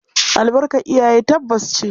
Albarkar iyaye tabbas ce.